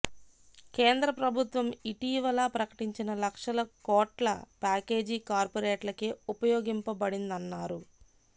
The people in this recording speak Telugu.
కేంద్ర ప్రభుత్వం ఇటీవల ప్రకటించిన లక్షల కోట్ల ప్యాకేజీ కార్పొరేట్లకే ఉపయోగపడిందన్నారు